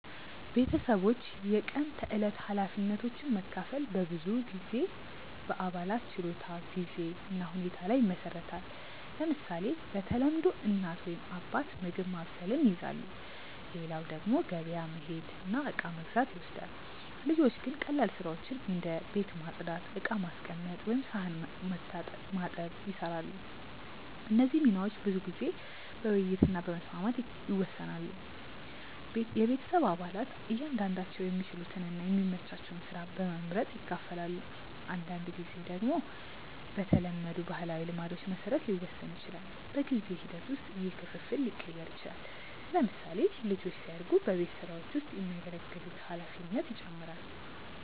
ቤተሰቦች የቀን ተዕለት ኃላፊነቶችን መካፈል በብዙ ጊዜ በአባላት ችሎታ፣ ጊዜ እና ሁኔታ ላይ ይመሰረታል። ለምሳሌ፣ በተለምዶ እናት ወይም አባት ምግብ ማብሰልን ይይዛሉ፣ ሌላው ደግሞ ገበያ መሄድ እና እቃ መግዛት ይወስዳል። ልጆች ግን ቀላል ስራዎችን እንደ ቤት ማጽዳት፣ ዕቃ ማስቀመጥ ወይም ሳህን መታጠብ ይሰራሉ። እነዚህ ሚናዎች ብዙ ጊዜ በውይይት እና በመስማማት ይወሰናሉ። ቤተሰብ አባላት እያንዳንዳቸው የሚችሉትን እና የሚመቻቸውን ስራ በመመርጥ ይካፈላሉ። አንዳንድ ጊዜ ደግሞ በተለመዱ ባህላዊ ልማዶች መሰረት ሊወሰን ይችላል። በጊዜ ሂደት ውስጥ ይህ ክፍፍል ሊቀየር ይችላል። ለምሳሌ፣ ልጆች ሲያድጉ በቤት ስራዎች ውስጥ የሚያገለግሉት ኃላፊነት ይጨምራል።